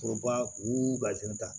Foroba u ta